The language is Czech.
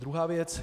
Druhá věc.